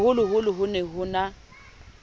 boholoholo ho ne ho na